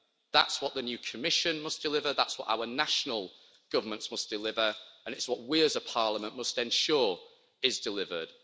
That's what the new Commission must deliver, that's what our national governments must deliver, and it's what we as a Parliament must ensure is delivered.